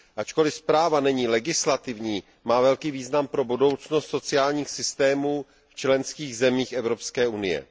Ačkoli zpráva není legislativní, má velký význam pro budoucnost sociálních systémů v členských zemích Evropské unie.